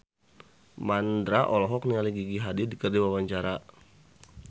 Mandra olohok ningali Gigi Hadid keur diwawancara